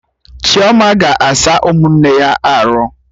Chioma ga-asa ụmụnne ya arụ